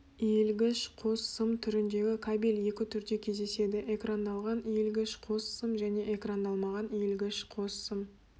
иілгіш қос сым түріндегі кабель екі түрде кездеседі экрандалған иілгіш қос сым және экрандалмаған иілгіш қос сым